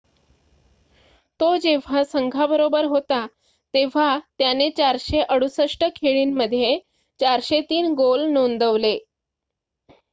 तो जेव्हा संघाबरोबर होता तेव्हा त्याने 468 खेळी मध्ये 403 गोल नोंदवले